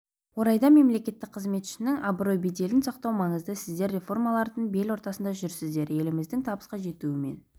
орайда мемлекеттік қызметшінің абырой-беделін сақтау маңызды сіздер реформалардың бел ортасында жүрсіздер еліміздің табысқа жетуі мен